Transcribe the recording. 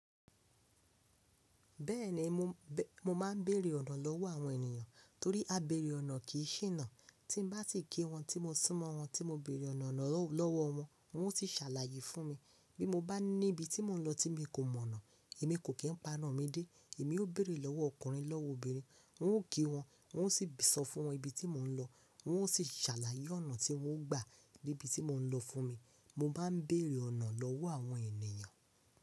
Bẹ́ẹ̀ni mo, mo máa ń bèrè ọ̀nà lọ́wọ́ àwọn ènìyàn torí á bẹ̀rẹ̀ ọ̀nà kì í ṣìnà. Tí n bá si kí wọn, tí mo sún mọ́ wọn tí mo bèrè ọ̀nà lọ́wọ́ wọn, wọn ó ti ṣàlàyé fún mi. Bí mo bá ní ibi tí mò ń lọ tí mi kò mọ̀ ọ̀nà, èmi kò kí ń paná mi dé. Èmi ó bèrè lọ́wọ́ ọkùnrin lọ́wọ́ obìnrin wọn ó kí wọn, wọn ó sì sọ fún wọn ibi tí mò ń lọ, wọn ó sì ṣàlàyé ọ̀nà tí wọ́n gbà níbi tí mò ń lọ fún mi. Mo máa ń bèrè ọ̀nà lọ́wọ́ àwọn ènìyàn.